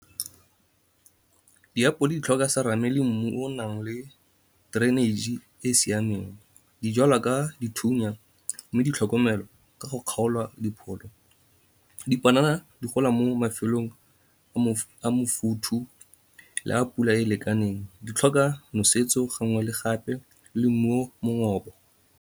Diapole di tlhoka serame le mmu o o nang le drainage-e e e siameng. Dijalwa ka dithunya, mme di tlhokomelwa ka go kgaola dipholo. Dipanana di gola mo mafelong a mofothu le a pula e lekaneng. Di tlhoka nosetso gangwe le gape le mmu o mongoba.